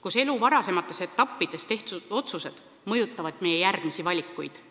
kus elu varasemates etappides tehtud otsused mõjutavad meie järgmisi valikuid.